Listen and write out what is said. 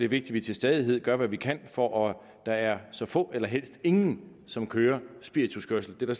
vi til stadighed gør hvad vi kan for at der er så få eller helst ingen som kører spirituskørsel det